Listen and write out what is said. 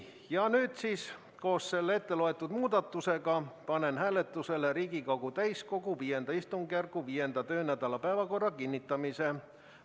Ja nüüd siis koos selle ette loetud muudatusega panen hääletusele Riigikogu täiskogu V istungjärgu 5. töönädala päevakorra kinnitamise.